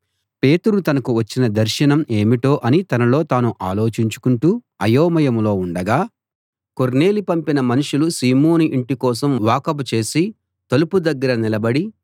పేతురు తనకు వచ్చిన దర్శనం ఏమిటో అని తనలో తాను ఆలోచించుకుంటూ అయోమయంలో ఉండగా కొర్నేలి పంపిన మనుషులు సీమోను ఇంటి కోసం వాకబు చేసి తలుపు దగ్గర నిలబడి